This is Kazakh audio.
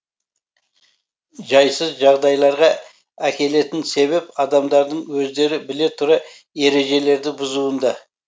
жайсыз жағдайларға әкелетін себеп адамдардың өздері біле тұра ережелерді бұзуында